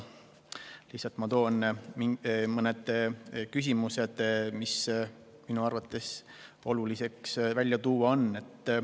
Toon lihtsalt ära mõned küsimused, mida minu arvates on oluline siin mainida.